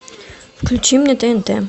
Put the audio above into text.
включи мне тнт